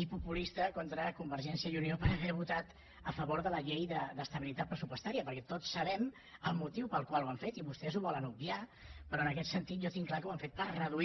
i populista contra convergència i unió per haver votat a favor de la llei d’estabilitat pressupostària perquè tots sabem el motiu pel qual ho han fet i vostès ho volen obviar però en aquest sentit jo tinc clar que ho han fet per reduir